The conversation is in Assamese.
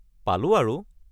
পালোঁ আৰু।